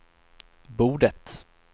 bordet